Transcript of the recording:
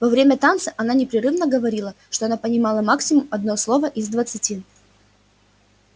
во время танца она непрерывно говорила что она понимала максимум одно слово из двадцати